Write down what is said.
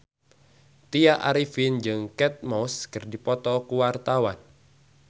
Tya Arifin jeung Kate Moss keur dipoto ku wartawan